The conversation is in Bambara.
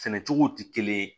Sɛnɛ cogo tɛ kelen ye